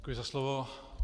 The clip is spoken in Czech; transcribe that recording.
Děkuji za slovo.